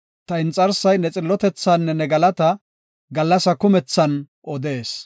Ta inxarsay ne xillotethaanne ne galataa, gallasa kumethan odees.